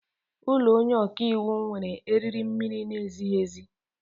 Ụlọ onye ọka iwu nwere eriri mmiri na-ezighi ezi.